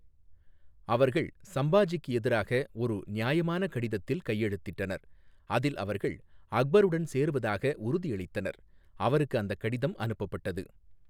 அவர்கள் சம்பாஜிக்கு எதிராக ஒரு நியாயமான கடிதத்தில் கையெழுத்திட்டனர், அதில் அவர்கள் அக்பருடன் சேருவதாக உறுதியளித்தனர், அவருக்கு அந்தக் கடிதம் அனுப்பப்பட்டது.